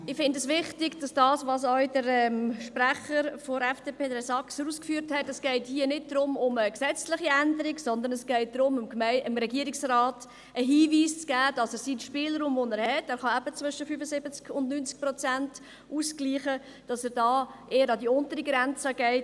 Ich finde das, was auch der Sprecher der FDP, Herr Saxer, ausgeführt hat, wichtig, das heisst, dass es nicht um eine gesetzliche Änderung geht, sondern darum, dem Regierungsrat einen Hinweis zu geben, dass er beim Spielraum, den er hat – er kann zwischen 75 und 90 Prozent ausgleichen –, eher an die untere Grenze geht.